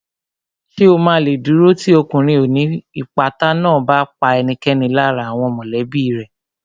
Ṣè o ma lè dúró tì ọkùnrin ó ní ìpátá náà bá pa ẹnikẹ́ni lára àwọn mọ̀lẹ́bí rẹ̀